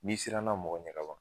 N'i siranna mɔgɔ ɲɛ kaban